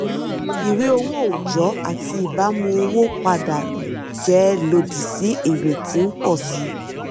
ìwé owó ọjọ́ àti ìbámu owó padà jẹ́ lòdì sí èrè tí ń pọ̀ sí i.